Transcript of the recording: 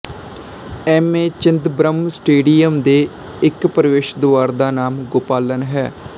M A Chidambaram stadium ਦੇ ਇੱਕ ਪ੍ਰਵੇਸ਼ ਦੁਆਰ ਦਾ ਨਾਮ ਗੋਪਾਲਨ ਹੈ